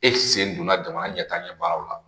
E sen donna jamana ɲɛtaa ɲɛ baaraw la